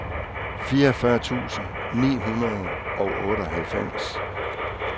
fireogfyrre tusind ni hundrede og otteoghalvfems